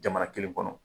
Jamana kelen kɔnɔ